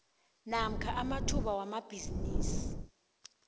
namkha amathuba wamabhisimisi